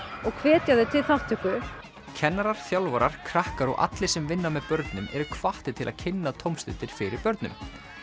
og hvetja þau til þátttöku kennarar þjálfarar krakkar og allir sem vinna með börnum eru hvattir til að kynna tómstundir fyrir börnum